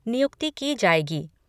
नियुक्ति की जाएगी।